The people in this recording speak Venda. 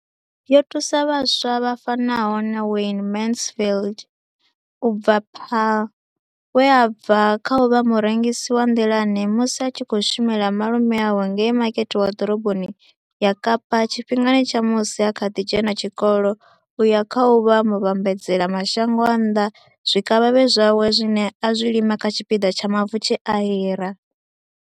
Yo thusa vhaswa vha fanaho na Wayne Mansfield u bva Paarl, we a bva kha u vha murengisi wa nḓilani musi a tshi khou shumela malume awe ngei Makete wa Ḓoroboni ya Kapa tshifhingani tsha musi a kha ḓi dzhena tshikolo u ya kha u vha muvhambadzela mashango a nnḓa zwikavhavhe zwawe zwine a zwi lima kha tshipiḓa tsha mavu tshe a hira.